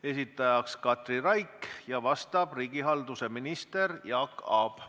Esitaja on Katri Raik ja vastaja riigihalduse minister Jaak Aab.